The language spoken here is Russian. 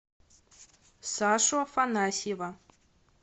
сашу афанасьева